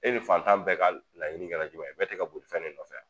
E ni fantan bɛɛ ka laɲini kɛla jumɛn ye, bɛɛ ti ka boli fɛn de nɔfɛ a?